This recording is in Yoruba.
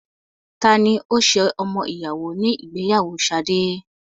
Tani ó ṣe ọmọ ìyàwó ní ìgbéyàwó Sade?